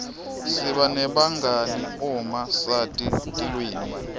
siba nebangani uma sati tilwimi